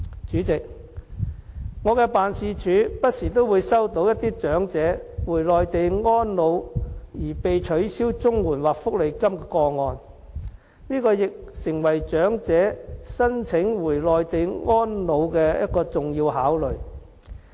主席，我的辦事處不時收到長者回內地安老而被取消綜合社會保障援助或福利金的個案，這亦成為長者申請回內地安老的重要考慮。